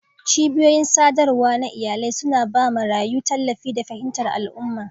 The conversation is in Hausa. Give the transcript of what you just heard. Cibiyoyin sadarwa na iyalai suna ba marayu tallafi da fahimtar al'umma.